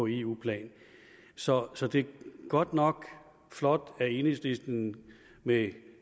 eu plan så så det er godt nok flot af enhedslisten med